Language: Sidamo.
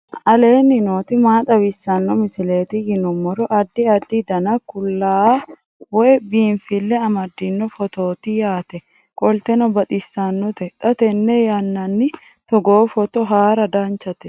aleenni nooti maa xawisanno misileeti yinummoro addi addi dananna kuula woy biinsille amaddino footooti yaate qoltenno baxissannote xa tenne yannanni togoo footo haara danvchate